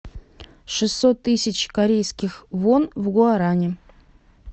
шестьсот тысяч корейских вон в гуарани